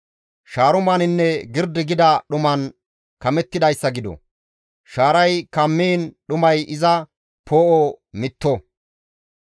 Shaarumaninne girdi gida dhuman kamettidayssa gido; shaaray kammiin dhumay iza poo7o mitto.